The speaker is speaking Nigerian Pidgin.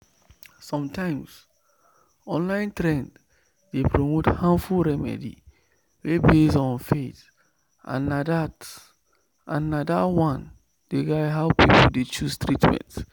sometimes online trend dey promote harmful remedy wey base on faith and na that and na that one dey guide how people dey choose treatment.